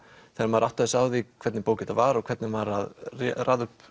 þegar maður áttaði sig á því hvernig bók þetta var og hvernig hann var að raða upp